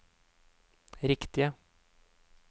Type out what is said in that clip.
riktige